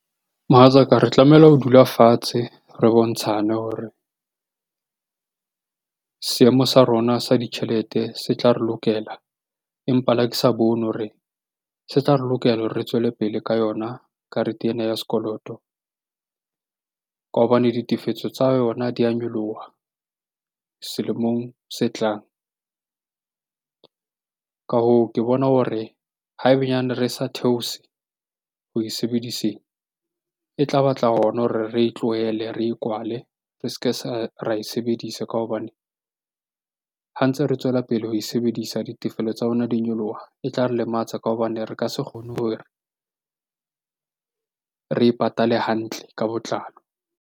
Mohatsaka, re tlamehile ho dula fatshe re bontshane hore seemo sa rona sa ditjhelete se tla re lokela. Empa le ha ke sa bone hore se tla re lokela hore re tswele pele ka yona karete ena ya sekoloto ka hobane ditefetso tsa yona di a nyoloha selemong se tlang. Ka hoo, ke bona hore ha e benyaneng re sa theose ho e sebediseng. E tla batla hona hore re e tlohele, re e kwale. Re se ke ra e sebedisa ka hobane ha ntse re tswela pele ho e sebedisa ditefelo tsa lona di nyoloha. E tla re lematsa ka hobane re ka se kgone hore re e patale hantle ka botlalo.